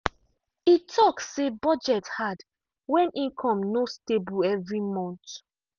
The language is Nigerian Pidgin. e talk say budget hard when income no stable every month.